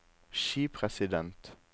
skipresident